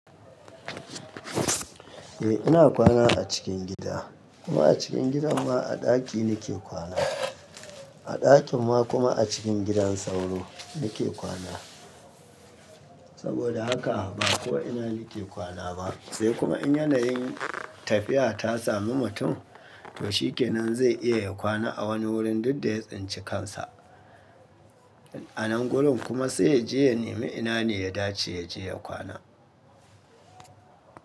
Eh ina kwana a cikin gida kuma a cikin gidan ma a ɗaki nake kwana. A ɗakin ma kuma a cikin gidan sauro nake kwana. Saboda haka ba ko'ina nake kwana ba, sai kuma in yanayin tafiya ta samu mutum to shi kenan zai iya ya kwana a wani wurin duk da ya tsinci kansa. A nan gurin kuma sai ya je ya nemi ina ne ya dace ya je ya kwana.